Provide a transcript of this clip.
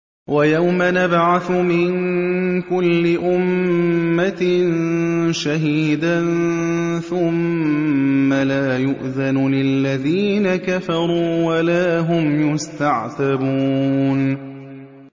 وَيَوْمَ نَبْعَثُ مِن كُلِّ أُمَّةٍ شَهِيدًا ثُمَّ لَا يُؤْذَنُ لِلَّذِينَ كَفَرُوا وَلَا هُمْ يُسْتَعْتَبُونَ